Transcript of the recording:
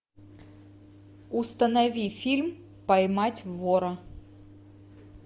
установи фильм поймать вора